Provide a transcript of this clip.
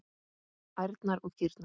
Ærnar og kýrnar.